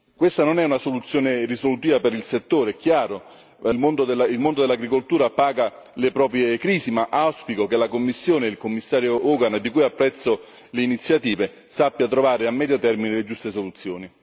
Questa non è una soluzione risolutiva per il settore, è chiaro il mondo dell'agricoltura paga le proprie crisi, ma auspico che la Commissione, il Commissario Hogan di cui apprezzo le iniziative sappia trovare a medio termine le giuste soluzioni.